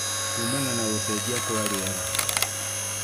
kumana na gũcenjia kwa rĩera